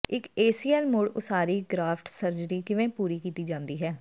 ਇੱਕ ਏਸੀਐਲ ਮੁੜ ਉਸਾਰੀ ਗ੍ਰਾਫਟ ਸਰਜਰੀ ਕਿਵੇਂ ਪੂਰੀ ਕੀਤੀ ਜਾਂਦੀ ਹੈ